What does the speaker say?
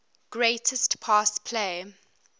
greatest pass play